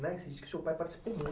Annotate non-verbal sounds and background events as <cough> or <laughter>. <unintelligible> seu pai participou muito.